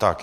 Tak.